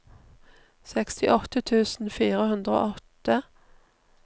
sekstiåtte tusen fire hundre og åtte